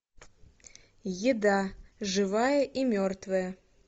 еда живая и мертвая